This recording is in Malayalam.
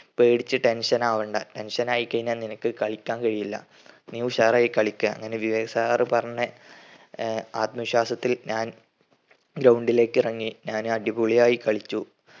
പേടിച് tension ആവണ്ട tension ആയികയിനാ നിനക്ക് കളിക്കാൻ കഴിയില്ല. നീ ഉഷാറായി കളിക്ക്യാ. അങ്ങനെ വിവേക് sir പറഞ്ഞ ആഹ് ആത്മവിശ്വാസത്തിൽ ഞാൻ ground ലേക് ഇറങ്ങി ഞാന് അടിപൊളിയായി കളിച്ചു